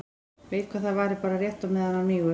Veit að það varir bara rétt á meðan hann mígur.